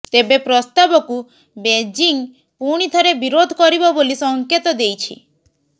ତେବେ ପ୍ରସ୍ତାବକୁ ବେଜିଂ ପୁଣି ଥରେ ବିରୋଧ କରିବ ବୋଲି ସଙ୍କେତ ଦେଇଛି